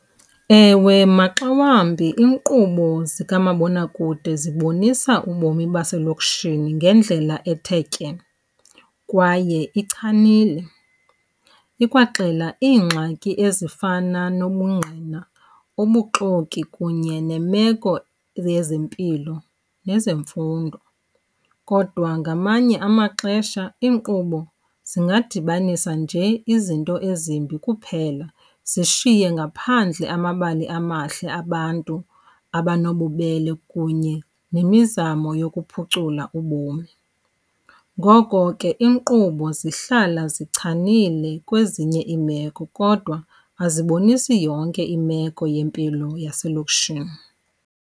Ewe, maxa wambi iinkqubo zikamabonakude zibonisa ubomi baselokishini ngendlela ethe tye kwaye ichanile. Ikwaxela iingxaki ezifana nobungqina, ubuxoki kunye nemeko yezempilo nezemfundo. Kodwa ngamanye amaxesha iinkqubo zingadibanisa nje izinto ezimbi kuphela zishiye ngaphandle amabali amahle abantu abanobubele kunye nemizamo yokuphucula ubomi. Ngoko ke iinkqubo zihlala zichanile kwezinye iimeko, kodwa azibonisi yonke imeko yempilo yaselokishini.